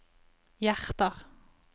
hjerter